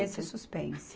Nesse suspense.